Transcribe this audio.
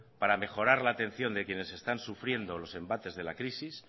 para mejorar la atención de quienes están sufriendo los embates de la crisis